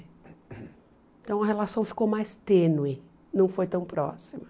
Então a relação ficou mais tênue, não foi tão próxima.